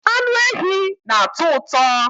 anụ ehi na-atọ ụtọ